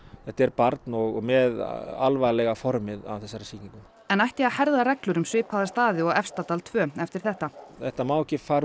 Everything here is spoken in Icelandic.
þetta er barn og með alvarlega formið af þessari sýkingu en ætti að herða reglur um svipaða staði og Efstadal tveir eftir þetta þetta má ekki fara